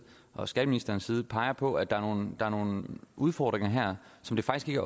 og skatteministerens side peger på at der her er nogle udfordringer som faktisk ikke